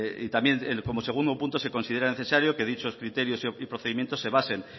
y también como segundo punto se considera necesario que dichos criterios y procedimientos se basen